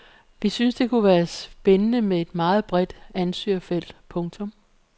Vi synes det kunne være spændende med et meget bredt ansøgerfelt. punktum